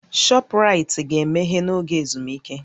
Shọpraịtị ga-emeghe n'oge ezumike